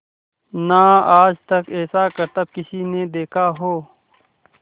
ना आज तक ऐसा करतब किसी ने देखा हो